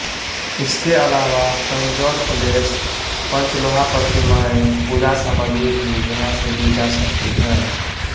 इसके अलावा तंजौर प्लेट्स पंचलोहा प्रतिमाएं पूजा सामग्री भी यहां से ली जा सकती हैं